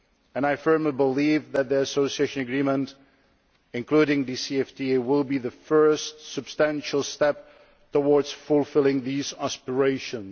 And I firmly believe that the Association Agreement, including DCFTA, will be the first substantial step towards fulfilling these aspirations.